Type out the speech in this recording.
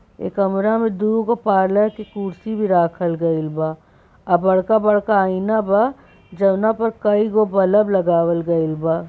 यह कमरा में दो पार्लर की कुर्सी राखल गईल बा। और बड़का-बड़का आइना बा जवना पर कई गो बिल्ब लगावल गाएल बा।